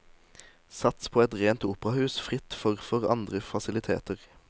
Sats på et rent operahus fritt for for andre faciliteter.